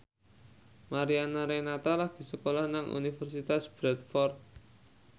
Mariana Renata lagi sekolah nang Universitas Bradford